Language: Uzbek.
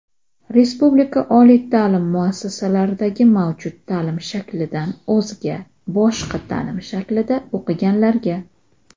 Respublika oliy ta’lim muassasalaridagi mavjud ta’lim shaklidan o‘zga (boshqa) ta’lim shaklida o‘qiganlarga;.